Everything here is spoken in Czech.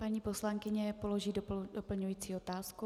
Paní poslankyně položí doplňující otázku.